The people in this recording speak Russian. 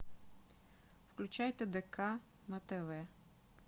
включай тдк на тв